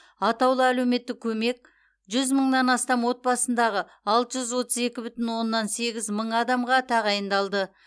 атаулы әлеуметтік көмек жүз мыңнан астам отбасындағы алты жүз отыз екі бүтін оннан сегіз мың адамға тағайындалды